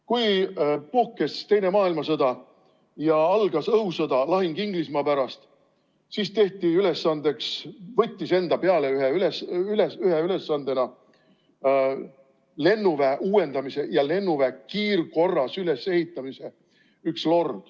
Kui puhkes teine maailmasõda ja algas õhusõda, lahing Inglismaa pärast, siis võttis üks lord ühe ülesandena enda peale lennuväe uuendamise ja lennuväe kiirkorras ülesehitamise.